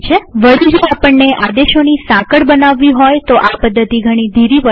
વળી જો આપણને આદેશોની સાંકળ બનાવવી હોય તોઆ પદ્ધતિ ઘણી ધીરી પડે છે